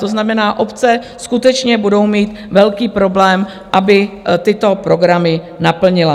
To znamená, obce skutečně budou mít velký problém, aby tyto programy naplnily.